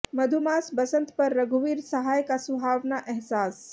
मधुमास बसंत पर रघुवीर सहाय का सुहावना एहसास